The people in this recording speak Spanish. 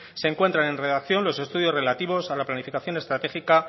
se encuentran en redacción los estudios relativos a la planificación estratégica